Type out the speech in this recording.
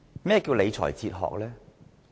何謂理財哲學？